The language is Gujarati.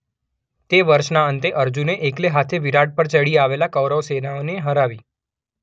તે વર્ષના અંતે અર્જુને એકલે હાથે વિરાટ પર ચડી આવેલી કૌરવ સેનાને હરાવી હતી.